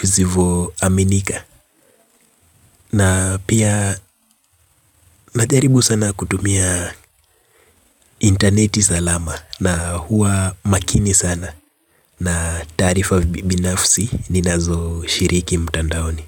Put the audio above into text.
visivo aminika na pia najaribu sana kutumia intaneti salama na huwa makini sana na taarifa binafsi ni nazo shiriki mtandaoni.